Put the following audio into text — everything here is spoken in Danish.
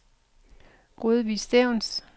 Rødvig Stevns